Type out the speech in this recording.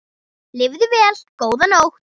Lifðu vel góða móðir.